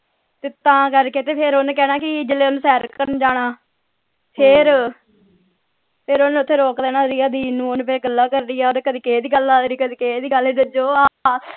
ਤੇ ਤਾਂ ਕਰਕੇ ਤੇ ਫੇਰ ਓਹਨੇ ਕਹਿਣਾ ਕਿ ਸੈਰ ਕਰਨ ਜਾਣਾ ਫੇਰ ਫੇਰ ਓਥੇ ਓਹਨੇ ਰੋਕ ਲੈਣਾ ਰਿਆ ਦੀਦੀ ਨੂੰ ਓਹਨੇ ਫੇਰ ਗੱਲਾਂ ਕਰਨੀਆਂ ਓਹਨੇ ਕਦੇ ਕਿਸੇ ਦੀ ਗੱਲ ਕਦੇ ਕਿਸੇ ਦੀ ਗੱਲ ਤੇ ਜੋ